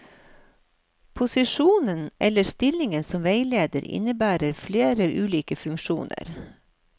Posisjonen eller stillingen som veileder, innebærer ulike funksjoner.